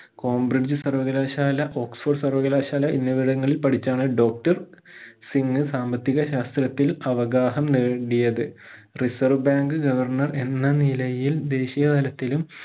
Cambridge സർവകലാശാല oxford സർവകലാശാല എന്നിവിടങ്ങളിൽ പഠിച്ചാണ് doctor സിംഗ് സാമ്പത്തിക ശാസ്ത്രത്തിൽ അവഗാഹം നേടിയത് reserve bank governor എന്ന നിലയിൽ ദേശീയതലത്തിലും